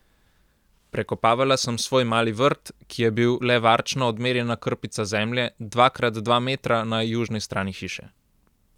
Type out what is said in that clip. Prekopavala sem svoj mali vrt, ki je bil le varčno odmerjena krpica zemlje, dva krat dva metra, na južni strani hiše.